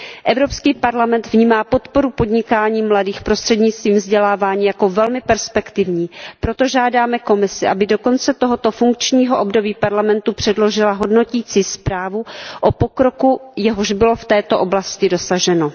Evropský parlament vnímá podporu podnikání mladých prostřednictvím vzdělávání jako velmi perspektivní, proto žádáme Komisi, aby do konce tohoto funkčního období Parlamentu předložila hodnotící zprávu o pokroku, jehož bylo v této oblasti dosaženo.